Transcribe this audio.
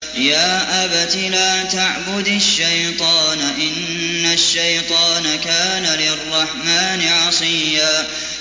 يَا أَبَتِ لَا تَعْبُدِ الشَّيْطَانَ ۖ إِنَّ الشَّيْطَانَ كَانَ لِلرَّحْمَٰنِ عَصِيًّا